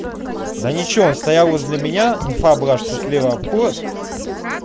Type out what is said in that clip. да ничего он стоял возле меня инфа была что слева обход